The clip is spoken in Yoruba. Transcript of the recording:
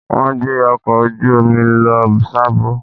Wọ́n gbé ọkọ̀ ojú omi lọ Sábó.